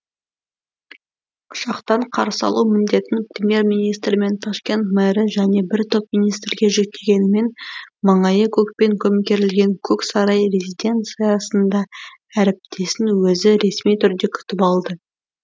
ұшақтан қарсы алу міндетін премьер министрі мен ташкент мэрі және бір топ министрге жүктегенімен маңайы көкпен көмкерілген көксарай резиденциясында әріптесін өзі ресми түрде күтіп алды